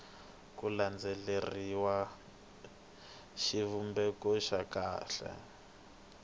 ku landzeleriwanga xivumbeko xa kahle